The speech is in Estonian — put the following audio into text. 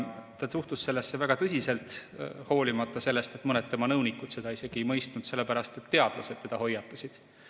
Ta suhtus sellesse väga tõsiselt, sellepärast et teadlased teda hoiatasid, hoolimata sellest, et mõned tema nõunikud seda ei mõistnud.